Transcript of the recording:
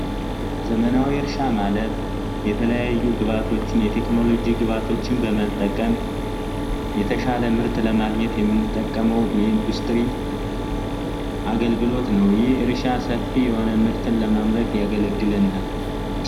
ዘመናዊ ማለት የተለያዩ ቅባቶችን የቴክኖሎጂ ግባቶችን በመጠቀም የተሻለ ምርጥ ለማግኘት የምንጠቀመው ኢንዱስትሪ አገልግሎት ነው ምርትን ለማምረት ያገለግለናል